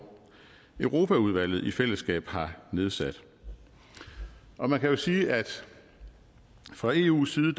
europaudvalget i fællesskab har nedsat og man kan jo sige at fra eus side